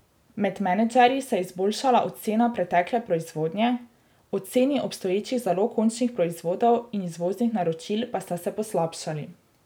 Med menedžerji se je izboljšala ocena pretekle proizvodnje, oceni obstoječih zalog končnih proizvodov in izvoznih naročil pa sta se poslabšali.